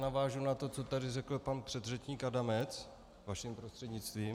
Navážu na to, co tady řekl pan předřečník Adamec, vaším prostřednictvím.